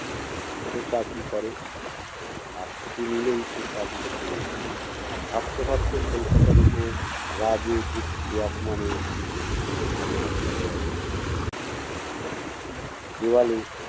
ছোট চাকরি করে, আর ছুটি নিলেই সে চাকরি টা চলে যায়। ভাবতে ভাবতে কলকাতার ওপর রাগে দুঃখে অপমানে চোখ দুটো ঝাপসা হয়ে আসে তনুর। দেওয়ালে